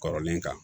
Kɔrɔlen kan